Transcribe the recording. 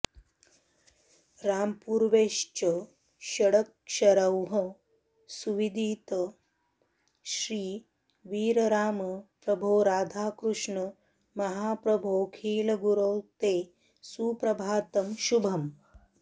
रांपूर्वैश्च षडक्षरैः सुविदित श्रीवीरराम प्रभो राधाकृष्ण महाप्रभोऽखिलगुरो ते सुप्रभातं शुभम्